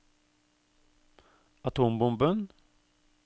atombomben